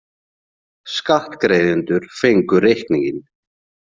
Skattgreiðendur fengu reikninginn.